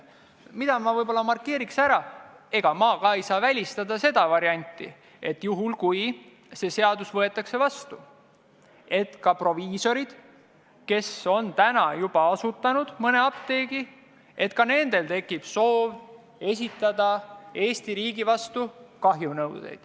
Mida ma võib-olla markeeriks: ega minagi saa välistada varianti, et juhul kui see seadus vastu võetakse, tekib ka proviisoritel, kes on tänaseks mõne apteegi asutanud, soov esitada Eesti riigi vastu kahjunõue.